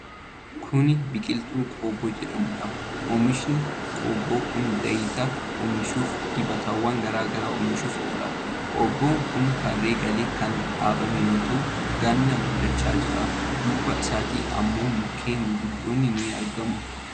Kuni biqiltuu qobboo jedhamuudha. Oomishi qobboo kun zaayita oomishuufii dibatawwan garaa garaa oomishuuf oola. Qobboon kun tarree galee kan dhaabame yoo ta'u ganaa guddachaa jira. Duuba isaatti ammoo mukkeen gurguddoon ni argamu.